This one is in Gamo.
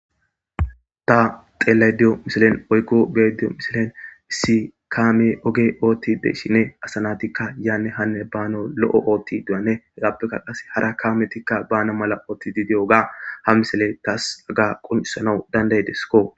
Xa xeelaydiyo misilen oykko beediyo misilen si kaame oge ootti de shine asanatikka yaanne hanne baano lo7o ootti du7ane hagappekka qase hara kaametikka bana mala ootti didi oga ha misile taas aga qoncisanau dandaydesko